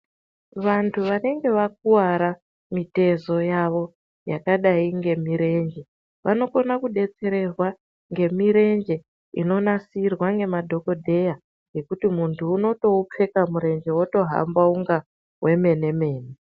Vantu vanenge vakuwara mitezo yavo yakadai ngemirenje, vanokona kudetserwa ngemirenje inonasirwa nemadhokodheya yekuti muntu unotoupfeka murenje otohamba unga wemenemene